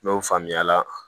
N'o faamuya la